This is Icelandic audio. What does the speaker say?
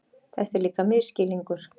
Þetta er líka misskilningur.